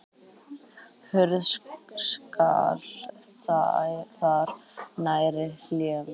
Hurð skall þar nærri hælum.